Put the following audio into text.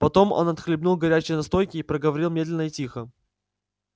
потом он отхлебнул горячей настойки и проговорил медленно и тихо